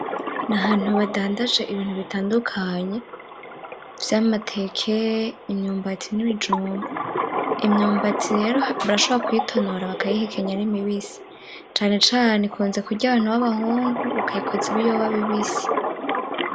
Nahantu badandaje ibintu bitandukanye vyamateke, imyumbati n'ibijumbu imyumbati rero barashobora kuyitonora bakayihekenya ari mibisi cane cane ikunze kurya abantu babahungu bakayikoza ibiyoba bibisi.